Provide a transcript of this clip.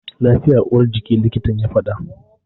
Lafiya uwar jiki, likitan ya fada.